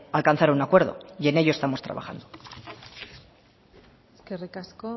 alcanzar un acuerdo y en ello estamos trabajando eskerrik asko